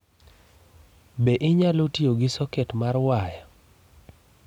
Be inyalo tiyo gi soket mar waya?